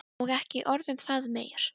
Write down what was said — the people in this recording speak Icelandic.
Og ekki orð um það meir.